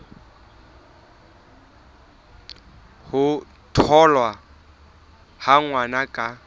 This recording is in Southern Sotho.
ho tholwa ha ngwana ka